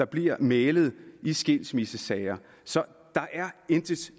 bliver mæglet i skilsmissesager så der er intet